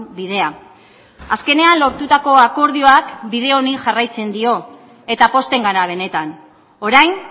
bidea azkenean lortutako akordioak bide honi jarraitzen dio eta pozten gara benetan orain